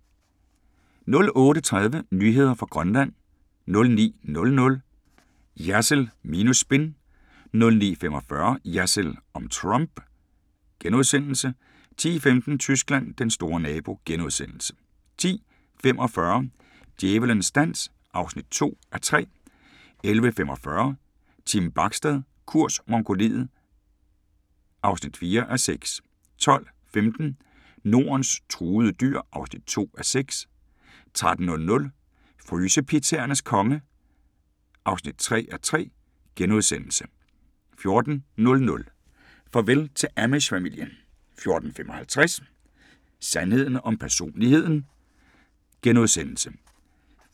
08:30: Nyheder fra Grønland 09:00: Jersild minus spin * 09:45: Jersild om Trump * 10:15: Tyskland: Den store nabo * 10:45: Djævelens dans (2:3) 11:45: Team Bachstad – kurs Mongoliet (4:6) 12:15: Nordens truede dyr (2:6) 13:00: Frysepizzaernes konge (3:3)* 14:00: Farvel til Amish-familien 14:55: Sandheden om personligheden *